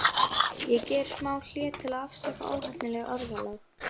Ég geri smá hlé, til að afsaka óheppilegt orðalag.